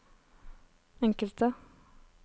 enkelte